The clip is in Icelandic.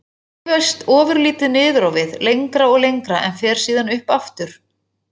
Það hreyfist ofurlítið niður á við. lengra og lengra, en fer síðan upp aftur.